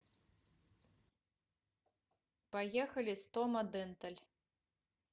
поехали стома денталь